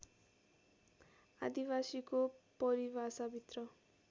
आदिवासीको परिभाषाभित्र